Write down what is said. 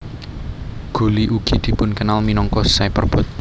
Gulli ugi dipunkenal minangka Cyperbot